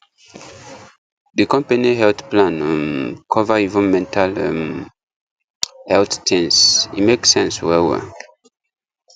the company health plan um cover even mental um health things e make sense well well